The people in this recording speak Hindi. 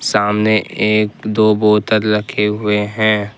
सामने एक दो बोतल रखे हुए हैं।